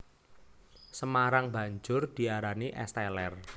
Semarang banjur diarani Es Teler